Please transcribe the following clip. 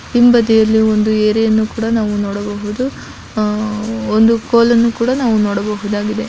ಹಿಂಬದಿಯಲ್ಲಿ ಒಂದು ಏರಿ ಯನ್ನು ಕೂಡ ನಾವು ನೊಡಬಹುದು ಆಹ್‌ ಒಂದು ಕೊಲನ್ನು ಕೂಡ ನಾವು ನೊಡಬಹುದಾಗಿದೆ .